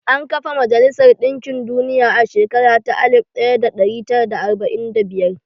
An kafa majalisar ɗinkin duniya a shekara ta alif ɗari tara da arba'in da biyar.